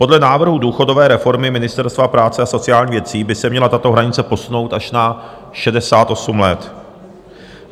Podle návrhu důchodové reformy Ministerstva práce a sociálních věcí by se měla tato hranice posunout až na 68 let.